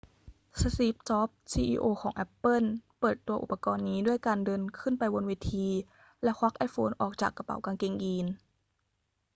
สตีฟ จ็อบส์ ซีอีโอของแอปเปิ้ลเปิดตัวอุปกรณ์นี้ด้วยการเดินขึ้นไปบนเวที แล้วควักไอโฟนออกจากกระเป๋ากางเกงยีน